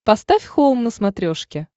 поставь хоум на смотрешке